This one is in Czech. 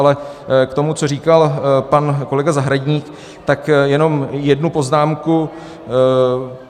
Ale k tomu, co říkal pan kolega Zahradník, tak jenom jednu poznámku.